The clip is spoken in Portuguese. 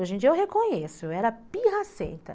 Hoje em dia eu reconheço, eu era pirracenta.